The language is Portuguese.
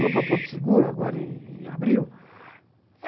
Vou para Porto Seguro agora em abril.